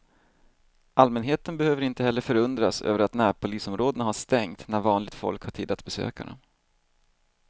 Allmänheten behöver inte heller förundras över att närpolisområdena har stängt när vanligt folk har tid att besöka dem.